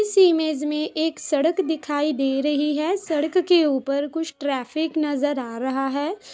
इस इमेज में एक सड़क दिखाई दे रही है। सड़क के ऊपर कुछ ट्राफिक नजर आ रहा है।